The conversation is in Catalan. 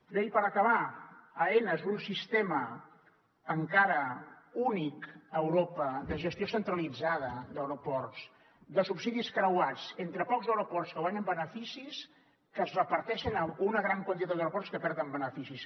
bé i per acabar aena és un sistema encara únic a europa de gestió centralitzada d’aeroports de subsidis creuats entre pocs aeroports que guanyen beneficis que es reparteixen amb una gran quantitat d’aeroports que perden beneficis